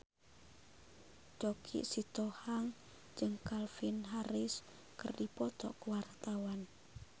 Choky Sitohang jeung Calvin Harris keur dipoto ku wartawan